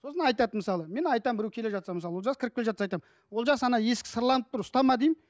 сосын айтады мысалы мен айтамын біреу келе жатса мысалы олжас кіріп келе жатса айтамын олжас ана есік сырланып тұр ұстама деймін